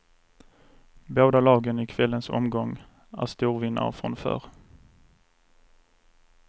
Båda lagen i kvällens omgång är storvinnare från förr.